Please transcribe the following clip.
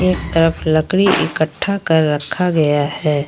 एक तरफ लकड़ी इकट्ठा कर रखा गया है।